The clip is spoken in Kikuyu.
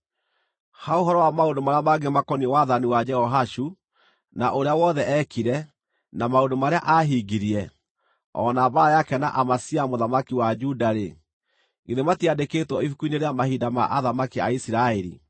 Ha ũhoro wa maũndũ marĩa mangĩ makoniĩ wathani wa Jehoashu, na ũrĩa wothe eekire, na maũndũ marĩa aahingirie, o na mbaara yake na Amazia mũthamaki wa Juda-rĩ, githĩ matiandĩkĩtwo ibuku-inĩ rĩa mahinda ma Athamaki a Isiraeli?